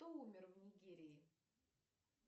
кто умер в нигерии